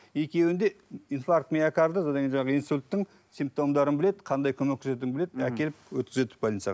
екеуінде инфаркт миокарда содан кейін жаңағы инсульттің симптомдарын біледі қандай көмек көрсететінін біледі әкеліп өткізеді больницаға